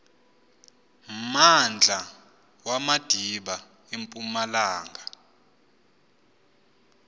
mmandla wamadiba empumalanga